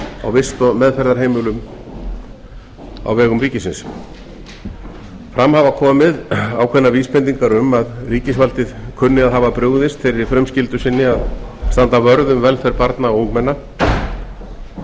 á vist og meðferðarheimilum á vegum ríkisins fram hafa komið ákveðnar vísbendingar um að ríkisvaldið kunni að hafa brugðist þeirri frumskyldu sinni að standa vörð um velferð barna og ungmenna